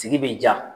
Sigi bɛ ja